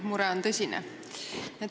Mure on tõsine.